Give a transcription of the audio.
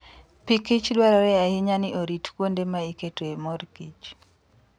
Pikich dwarore ahinya ni orit kuonde ma iketoe mor kich.